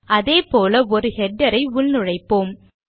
அதே போல ஒரு ஹெடர் ஐ உள்நுழைப்போம்